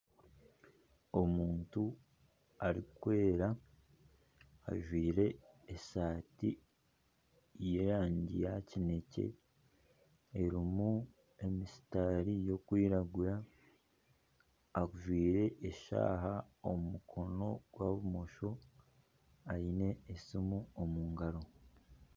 Omuntu arikwera ajwire eshati y'erangi ya kineekye, erimu emisitaari erikwiragura ajwire eshaaha omu mukono gwa bumosho aine esiimu omu ngaro